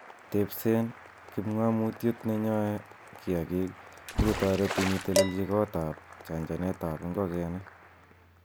Tebsen kipng'omutiet nenyoe kiyaagik sikotoretin itelelchi katok ab chanchanet en ingokeniguk.